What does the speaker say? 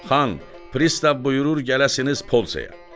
Xan, pristav buyurur gələsiniz polsiyaya.